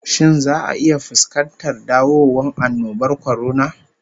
Shin za'a iya fuskantar dawowan annobar kwarona?